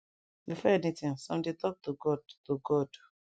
before anything sum dey talk to god to god